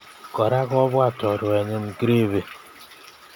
Kora kobwat choruenyi Griffy